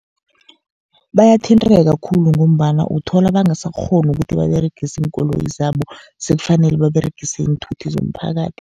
Bayathinteka khulu, ngombana uthola bangasakghoni ukuthi baberegise iinkoloyi zabo, sekufanele baberegise iinthuthi zomphakathi.